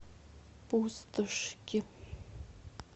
пустошки